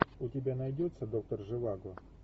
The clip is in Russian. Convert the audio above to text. у тебя найдется доктор живаго